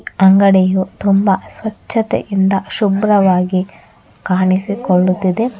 ಅಂಗಡಿಯು ತುಂಬ ಸ್ವಚ್ಚತೆಯಿಂದ ಶುಭ್ರವಾಗಿ ಕಾಣಿಸಿಕೊಳ್ಳುತ್ತಿದೆ.